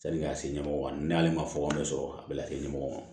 Sani k'a se ɲɛmɔgɔ ma ne hali ma fɔ ne sɔrɔ a bɛ ka se ɲɛmɔgɔ ma